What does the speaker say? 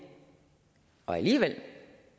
og alligevel